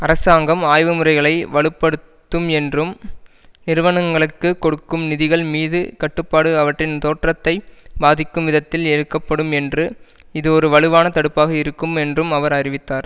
அரசாங்கம் ஆய்வுமுறைகளை வலு படுத்தும் என்றும் நிறுவனங்களுக்கு கொடுக்கும் நிதிகள் மீது கட்டுப்பாடு அவற்றின் தோற்றத்தை பாதிக்கும் விதத்தில் எடுக்கப்படும் என்று இது ஒரு வலுவான தடுப்பாக இருக்கும் என்றும் அவர் அறிவித்தார்